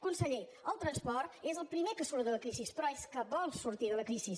conseller el transport és el primer que surt de la crisi però és que vol sortir de la crisi